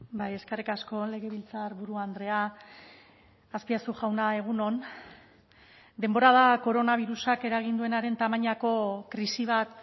bai eskerrik asko legebiltzarburu andrea azpiazu jauna egun on denbora da koronabirusak eragin duenaren tamainako krisi bat